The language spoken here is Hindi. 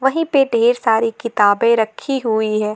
वही पे ढेर सारी किताबें रखी हुई है।